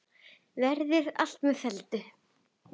Verði allt með felldu.